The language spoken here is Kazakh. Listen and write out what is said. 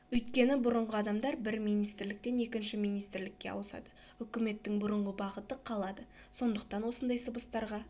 өйткені бұрынғы адамдар бір министрліктен екінші министрлікке ауысады үкіметтің бұрынғы бағыты қалады сондықтан осындай сыбыстарға